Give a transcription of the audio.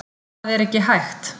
Það er ekki hægt